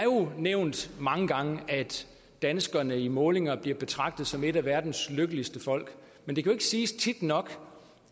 nævnt mange gange at danskerne i målinger bliver betragtet som et af verdens lykkeligste folk men det kan ikke siges tit nok